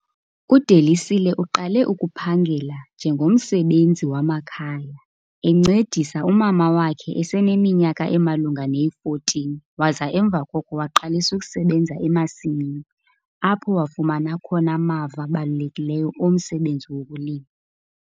UDelisile uqale ukuphangela njengomsebenzi wamakhaya, encedisa umama wakhe eseneminyaka emalunga neyi-14, waza emva koko waqalisa ukusebenza emasimini apho wafumana khona amava abalulekileyo omsebenzi wokulima.